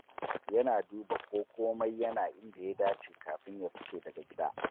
Yana duba ko komai yana inda ya dace kafin ya fice daga gida.